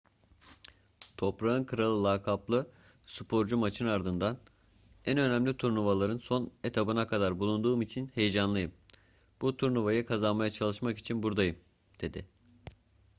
toprağın kralı lakaplı sporcu maçın ardından en önemli turnuvaların son etabında tekrar bulunduğum için heyecanlıyım bu turnuvayı kazanmaya çalışmak için buradayım dedi